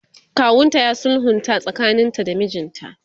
kawunta ya sulhunta tsakanin ta da mijinta